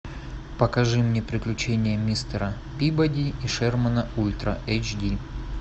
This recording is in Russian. покажи мне приключения мистера пибоди и шермана ультра эйч ди